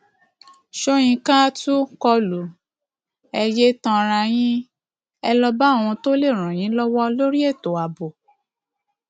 sọyìnkà tún kọ lù ẹ yéé tanra yín ẹ lọọ báwọn tó lè ràn yín lọwọ lórí ètò ààbò